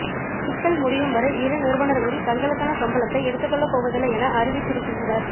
சிக்கல் முடியும் வரை இரு நிறுவனர்களும் தங்களுக்கான சம்பளத்தை எடுத்துக்கொள்ளப் போவதில்லை என அறிவித்திருக்கின்றனர்